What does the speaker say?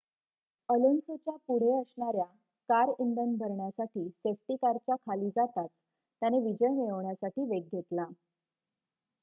अलोन्सोच्या पुढे असणाऱ्या कार इंधन भरण्यासाठी सेफ्टी कारच्या खाली जाताच त्याने विजय मिळवण्यासाठी वेग घेतला